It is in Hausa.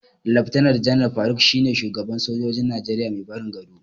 Laftanar Janar Faruk shine shugaban sojojin Najeriya mai barin gado.